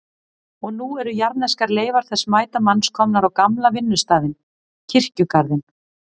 Og nú eru jarðneskar leifar þessa mæta manns komnar á gamla vinnustaðinn, kirkjugarðinn.